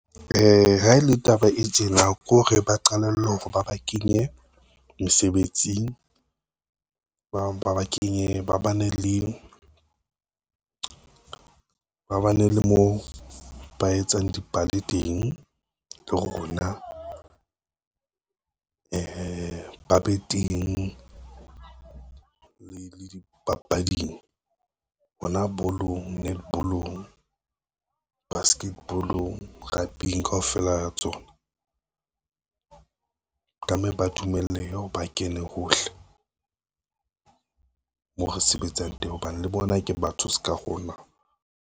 Ha e le taba e tjena ko hore ba qalelle hore ba ba kenye mesebetsing, ba bang ba ba kenye ba bane le moo ba etsang dipale teng . Ba be teng le dipapading hona bolong, netball-ong, baskeball-ong, rugby-ng kaofela ha tsona. Tlamelie ba dumelehe ba kene hohle, mo re sebetsang teng hobane le bona ke batho ska rona.